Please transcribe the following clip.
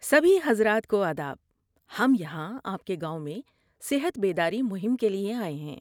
سبھی حضرات کو آداب! ہم یہاں آپ کے گاؤں میں صحت بیداری مہم کے لیے آئے ہیں۔